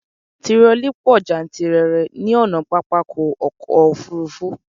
Tirọlí pọ jántìrere ní ọ̀nà pápákọ̀ ọ̀kọ òfurufú